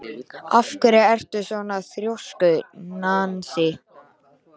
Af hverju ertu svona þrjóskur, Nansý?